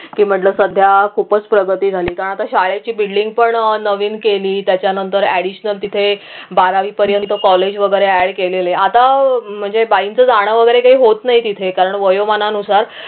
की म्हटलं सध्या खूपच प्रगती झाली कारण आता शाळेची building पण नवीन केली त्याच्यानंतर additional तिथे बारावी पर्यंत college वगैरे add केलेले आता म्हणजे बाईंचं जान वगैरे काही होत नाही तिथे कारण वयोमानानुसार